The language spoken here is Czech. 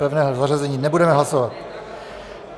Pevné zařazení nebudeme hlasovat.